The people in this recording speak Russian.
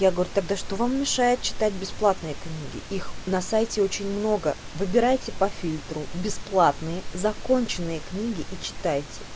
я говорю тогда что вам мешает читать бесплатные книги их на сайте очень много выбирайте по фильтру бесплатные законченные книги и читай